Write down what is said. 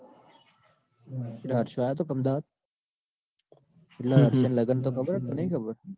પેલો હર્ષયો આયો તો પરમદાડ. એટલે તન લગન તો ખબર કે નઈ ખબર?